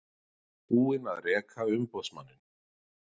Búin að reka umboðsmanninn